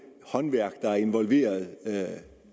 håndværk der er involveret